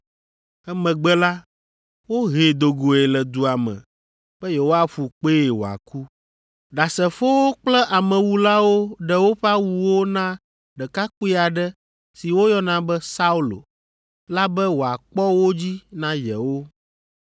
Emegbe la, wohee do goe le dua me be yewoaƒu kpee wòaku. Ɖasefowo kple amewulawo ɖe woƒe awuwo na ɖekakpui aɖe si woyɔna be Saulo la be wòakpɔ wo dzi na yewo.